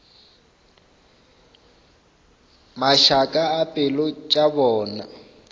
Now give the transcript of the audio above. mašaka a pelo tša bona